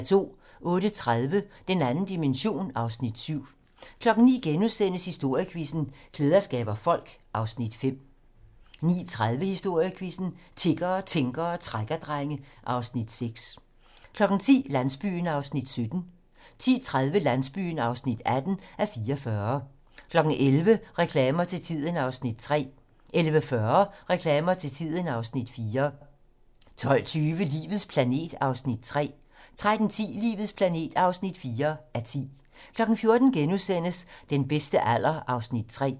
08:30: Den 2. dimension (Afs. 7) 09:00: Historiequizzen: Klæder skaber folk (Afs. 5)* 09:30: Historiequizzen: Tiggere, tænkere og trækkerdrenge (Afs. 6)* 10:00: Landsbyen (17:44) 10:30: Landsbyen (18:44) 11:00: Reklamer til tiden (Afs. 3) 11:40: Reklamer til tiden (Afs. 4) 12:20: Livets planet (3:10) 13:10: Livets planet (4:10) 14:00: Den bedste alder (3:4)*